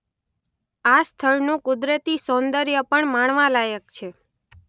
આ સ્થળનું કુદરતી સૌંદર્ય પણ માણવાલાયક છે.